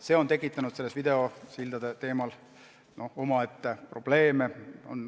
See on tekitanud videosildade puhul omaette probleeme.